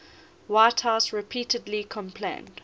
whitehouse repeatedly complained